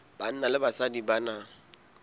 banna le basadi ba na